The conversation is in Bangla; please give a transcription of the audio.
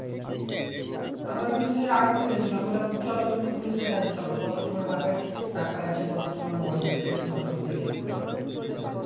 আমার রাগ উঠেগেছিলো আমি বললাম চলো তুমি পুলিশের কাছে চলো কত তোমার বাপের টাকা আছে কত তোমার মরদ আছে তোমার সব দেখিয়ে দেব চলো তুমি পুলিশের কাছে